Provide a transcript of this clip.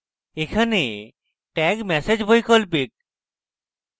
এখানে tag message বৈকল্পিক